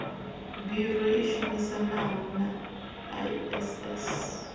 biro i shumisanaho na iss